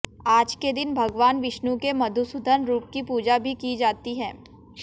आज के दिन भगवान विष्णु के मधुसूदन रूप की पूजा भी की जाती है